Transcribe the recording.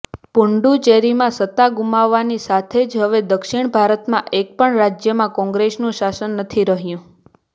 પુડ્ડુચેરીમાં સત્તા ગુમાવતાની સાથે જ હવે દક્ષિણ ભારતના એક પણ રાજયમાં કોંગ્રેસનું શાસન નથી રહ્યું